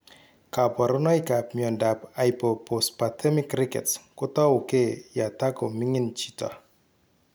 Kaborunoikap miondop Hypophosphatemic rickets kotouge yatakoming'in chito